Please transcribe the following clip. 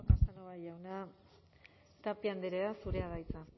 casanova jauna tapia andrea zurea da hitza